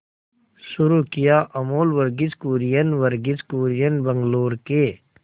शुरू किया अमूल वर्गीज कुरियन वर्गीज कुरियन बंगलूरू के